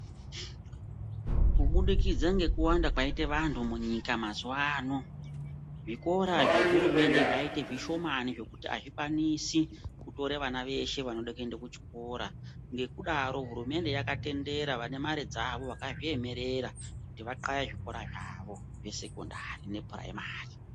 Kubudikidza ngekuwanda kwaita vantu munyika mazuwa ano zvikora zvehurumende zvaita zvishomani zvekuti azvikwanisi kutore vana veshe vanoda kuenda kuchikora .Ngekudaro hurumende yakatendera vane mare dzavo vakazviyemerera kuti vathaye zvikora zvavo zvesekondari nepuraimari.